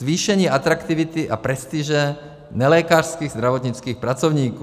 Zvýšení atraktivity a prestiže nelékařských zdravotnických pracovníků.